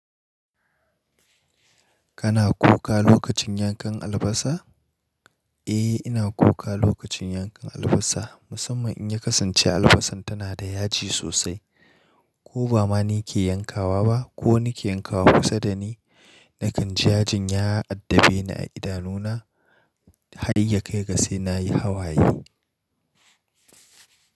Kana kuka lokacin yankan albasa? Eh, ina kuka lokacin yankan albasa. Musamman in ya kasance albasar tana da yaji sosai. Ko ba ma ni ke yankawa ba ko ni ke yankawa. Kusa da ni, nakan ji yajin ya addabe ni a idanuna har ya kai ga sai na yi hawaye.